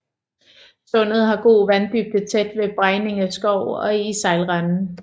Sundet har god vanddybde tæt ved Bregninge Skov og i sejlrenden